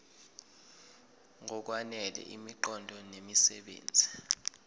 ngokwanele imiqondo nemisebenzi